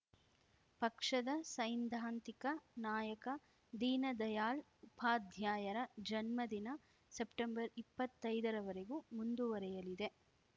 ಪಕ್ಷದ ಸೈದ್ಧಾಂತಿಕ ನಾಯಕ ದೀನದಯಾಳ್‌ ಉಪಾಧ್ಯಾಯರ ಜನ್ಮದಿನ ಸೆಪ್ಟೆಂಬರ್ಇಪ್ಪತ್ತೈದರ ವರೆಗೂ ಮುಂದುವರಿಯಲಿದೆ